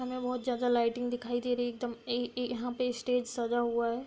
हमें बहोत जादा लाइटिंग दिखाई दे रही एकदम ऐ ऐ यहां पे स्टेज सजा हुआ है।